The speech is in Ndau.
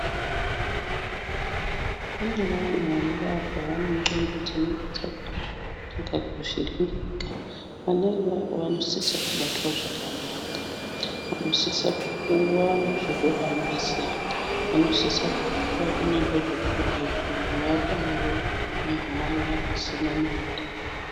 Kune vanhu vanobarwa vane ndxondo dzinonga dzakaita kakuvhiringika. Vana ivavo vanosisa kubatwa zvakanaka. Vanosisa kupuwa zvokuhambisa, vanosisa kupuwa zvokurya, kutongovapawo mahala, pasina mare.